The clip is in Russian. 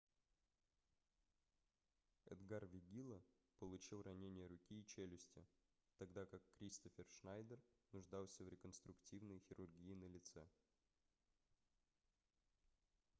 эдгар вегилла получил ранения руки и челюсти тогда как кристоффер шнайдер нуждался в реконструктивной хирургии на лице